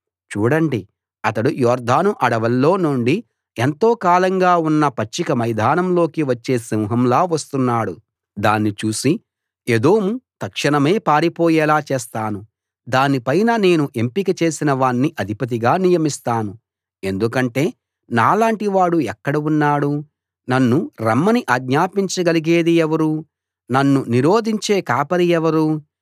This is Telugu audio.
చూడండి అతడు యొర్దాను అడవుల్లో నుండి ఎంతో కాలంగా ఉన్న పచ్చిక మైదానం లోకి వచ్చే సింహంలా వస్తున్నాడు దాన్ని చూసి ఏదోము తక్షణమే పారిపోయేలా చేస్తాను దానిపైన నేను ఎంపిక చేసిన వాణ్ణి అధిపతిగా నియమిస్తాను ఎందుకంటే నాలాంటి వాడు ఎక్కడ ఉన్నాడు నన్ను రమ్మని ఆజ్ఞాపించగలిగేది ఎవరు నన్ను నిరోధించే కాపరి ఎవరు